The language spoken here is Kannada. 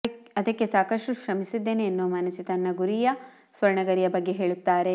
ಅದಕ್ಕೆ ಸಾಕಷ್ಟು ಶ್ರಮಿಸಿದ್ದೇನೆ ಎನ್ನುವ ಮಾನಸಿ ತಮ್ಮ ಗುರಿಯ ಸ್ವರ್ಣ ಗರಿಯ ಬಗ್ಗೆ ಹೇಳುತ್ತಾರೆ